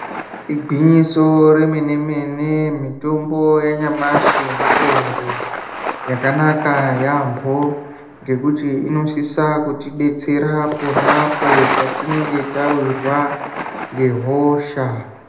Ingwinyiso remene mene mitombo yanyamashi, mitombo yakanaka yambo ngekuti inosise kutidetsera pona apo patinenge tawirwa ngehosha.